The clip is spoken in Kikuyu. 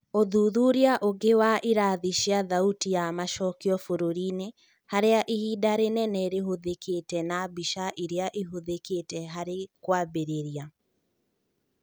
ũthuthuria ũgĩ wa irathi cia thauti ya macokio bũrũri-inĩ harĩa ihinda rĩnene rĩhũthĩkĩte na mbica iria ĩhũthĩkĩte harĩ kũambĩrĩria.